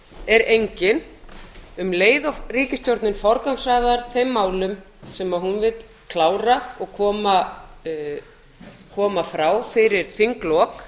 er engin um leið og ríkisstjórnin forgangsraðar þeim málum sem hún vill klára og koma frá fyrir þinglok